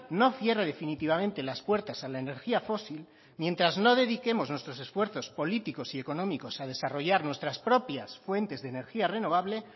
no cierre definitivamente las puertas a la energía fósil mientras no dediquemos nuestros esfuerzos políticos y económicos a desarrollar nuestras propias fuentes de energía renovable